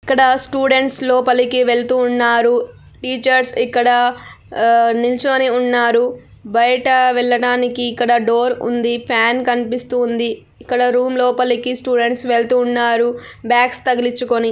ఇక్కడ స్టూడెంట్స్ లోపలోకి వెళ్తూ ఉన్నారు. రు. టీచర్స్ ఇక్కడ అ-నిల్చోని ఉన్నారు. బయట వెళ్ళడానికి ఇక్కడ డోర్ ఉంది. ఫ్యాన్ కనిపిస్తుంది. ఇక్కడ రూమ్ లోపలికి స్టూడెంట్స్ వెళ్తూ ఉన్నారు. బ్యాగ్స్ తగిలిచుకొని --